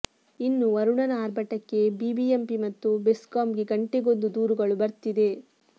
ಇನ್ನು ವರುಣನ ಅರ್ಭಟಕ್ಕೆ ಬಿಬಿಎಂಪಿ ಮತ್ತು ಬೆಸ್ಕಾಂಗೆ ಗಂಟೆಗೊಂದು ದೂರುಗಳು ಬರ್ತಿದೆ